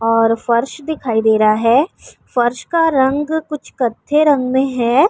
اور فرش دکھائی دے رہا ہے۔ فرش کا رنگ کچھ کاتہی رنگ مے ہے۔